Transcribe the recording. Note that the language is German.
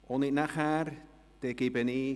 – Dies ist nicht der Fall.